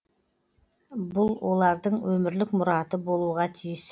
бұл олардың өмірлік мұраты болуға тиіс